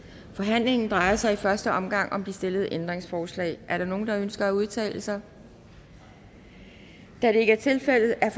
forhandlingen drejer sig i første omgang om de stillede ændringsforslag er der nogen der ønsker at udtale sig da det ikke er tilfældet er